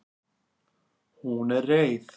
Hún er reið.